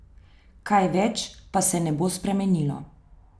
Kaj več pa se ne bo spremenilo.